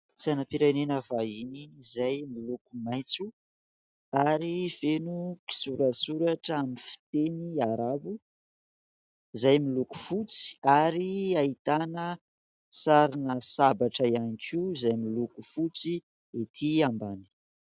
Sainam-pirenena vahiny izay miloko maitso ary feno kisoratsoratra amin'ny fiteny arabo izay miloko fotsy, ary ahitana sarina sabatra ihany koa izay miloko fotsy ety ambany.